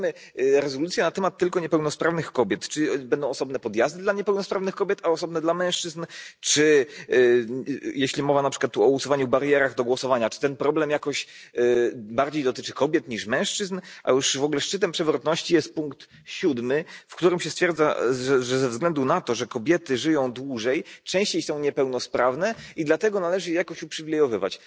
Wydajemy rezolucję na temat tylko niepełnosprawnych kobiet, czyli będą osobne podjazdy dla niepełnosprawnych kobiet, a osobne dla mężczyzn? Czy jeśli mowa tu, na przykład, o usuwaniu barier do głosowania, czy ten problem jakoś bardziej dotyczy kobiet niż mężczyzn? A już w ogóle szczytem przewrotności jest punkt 7, w którym się stwierdza, że ze względu na to, że kobiety żyją dłużej częściej są niepełnosprawne i dlatego należy je jakoś uprzywilejować.